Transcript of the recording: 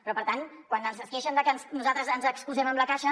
però per tant quan es queixen de que nosaltres ens excusem amb la caixa